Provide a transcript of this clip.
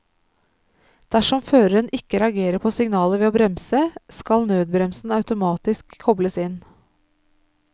Dersom føreren ikke reagerer på signalet ved å bremse, skal nødbremsen automatisk kobles inn.